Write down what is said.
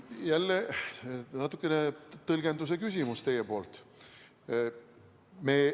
Jälle natukene tõlgenduse küsimus.